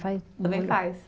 Também faz?